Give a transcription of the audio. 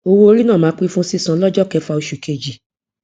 owó orí náà máa pé fún sísan lọjọ kẹfà osù kejì